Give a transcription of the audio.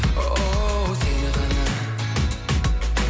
оу сені ғана